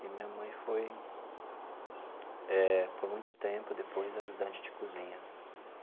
E minha mãe foi eh, por muito tempo depois, ajudante de cozinha.